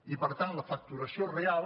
i per tant la facturació real